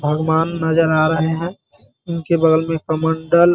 भगवान नजर आ रहे हैं उनके बगल में कमंडल --